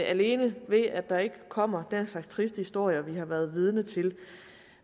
alene ved at der ikke kommer den slags triste historier vi har været vidne til